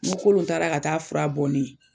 Ŋo Kolon taara ka taa'a fura bɔ ne ye